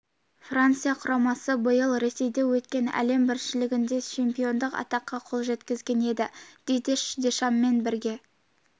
франция құрамасы биыл ресейде өткен әлем біріншілігінде чемпиондық атаққа қол жеткізген еді дидье дешаммен бірге